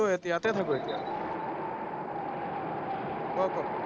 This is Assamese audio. আহ ইয়াতে থাকো এতিয়া, ক ক।